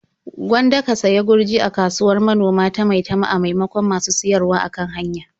Gwanda ka sayi gurji a kasuwar manoma ta Maitama a maimakon masu siyarwa a kan hanya.